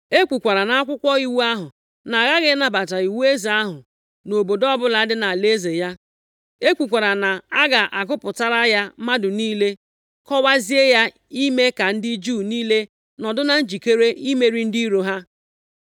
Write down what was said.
E kwukwara nʼakwụkwọ iwu ahụ na a ghaghị ịnabata iwu eze ahụ nʼobodo ọbụla dị nʼalaeze ya. E kwukwara na a ga-agụpụtara ya mmadụ niile, kọwazie ya ime ka ndị Juu niile nọdụ na njikere imeri ndị iro ha.